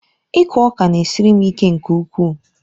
Ịkụ ọka na-esiri m ike nke ukwuu.